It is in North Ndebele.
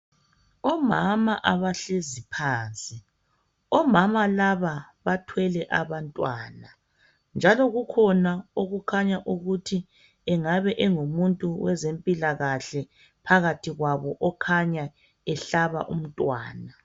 Omama abahlezi phansi, omama laba bathwele abantwana njalo kukhona okhanya engathi engabe engoweze mpilakahle okhanya ehlaba umntwana